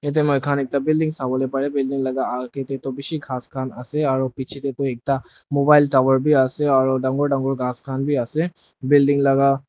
itya muikhan ekta building sawole pareh building laga agey tey toh bishi ghas khan ase aro pichetey toh mobile tower bi ase aro dangor dangor ghas khan bi ase aro building laga.